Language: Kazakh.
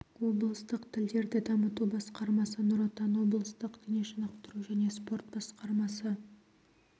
облыстық тілдерді дамыту басқармасы нұр отан облыстық дене шынықтыру және спорт басқармасы